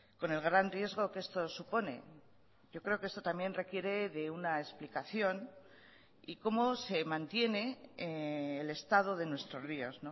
con el gran riesgo que esto supone yo creo que esto también requiere de una explicación y como se mantiene el estado de nuestros ríos